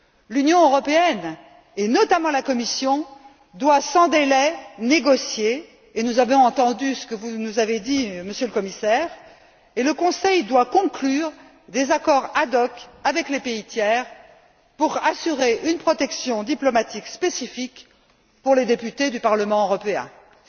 L'Union européenne, et notamment la Commission, doit sans délai négocier et nous avons entendu ce que vous nous avez dit, Monsieur le Commissaire et le Conseil doit conclure des accords ad hoc avec les pays tiers pour assurer une protection diplomatique spécifique pour les députés du Parlement européen. C'est le moins que l'on puisse faire.